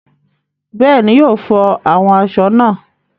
Bẹ́ẹ̀ni, yóò flọ àwọn aṣọ náà.